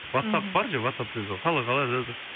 ватсап бар жай ватсапта